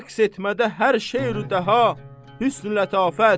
Rəqs etmədə hər şey-ru-dəha, hüsn-ü-lətafət.